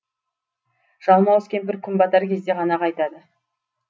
жалмауыз кемпір күн батар кезде ғана қайтады